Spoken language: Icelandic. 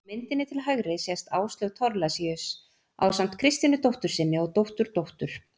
Á myndinni til hægri sést Áslaug Thorlacius ásamt Kristínu dóttur sinni og dótturdóttur.